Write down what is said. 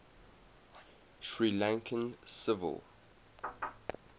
sri lankan civil